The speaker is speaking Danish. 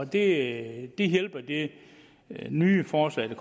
det hjælper det nye forslag der